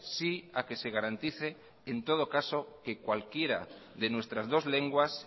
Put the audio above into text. sí a que se garantice en todo caso que cualquiera de nuestras dos lenguas